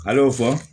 A y'o fɔ